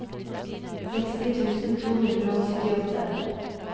seksti tusen to hundre og syttiåtte